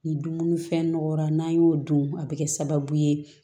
Ni dumuni fɛn nɔgɔyara n'an y'o dun a bɛ kɛ sababu ye